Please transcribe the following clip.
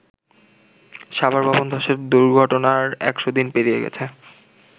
সাভারে ভবন ধসের দুর্ঘটনার একশ দিন পেরিয়ে গেছে।